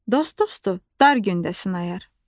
Dost dostu dar gündə sınayar.